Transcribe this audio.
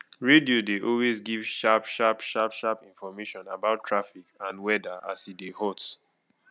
radio dey always give sharp sharp sharp sharp information about traffic and weather as e dey hot